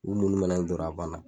U munumɛnɛ n dɔrɔn a banna